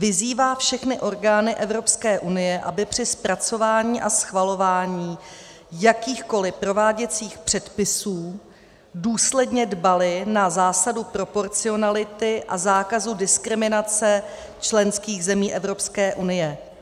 Vyzývá všechny orgány Evropské unie, aby při zpracování a schvalování jakýchkoli prováděcích předpisů důsledně dbaly na zásadu proporcionality a zákazu diskriminace členských zemí Evropské unie.